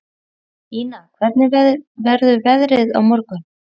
Ína, hvernig verður veðrið á morgun?